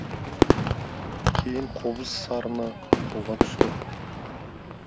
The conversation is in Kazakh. кейін қобыз сарыны қолға түсті